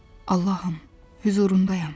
Allahım, hüzurundayam.